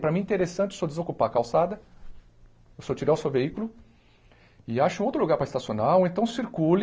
Para mim é interessante o senhor desocupar a calçada, o senhor tirar o seu veículo e ache um outro lugar para estacionar, ou então circule,